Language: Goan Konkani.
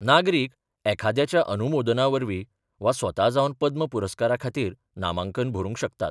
नागरीक एखाद्याच्या अनुमोदनावरवी वा स्वता जावन पद्म पुरस्काराखातीर नामांकन भरूंक शकतात.